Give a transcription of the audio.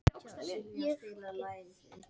Olíuverð á uppleið